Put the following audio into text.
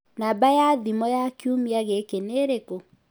Namba ya thimũ ya kiumia gĩkĩ nĩ ĩrĩkũ?